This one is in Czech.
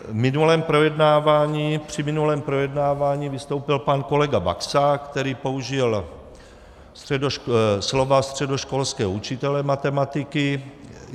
Při minulém projednávání vystoupil pan kolega Baxa, který použil slova středoškolského učitele matematiky.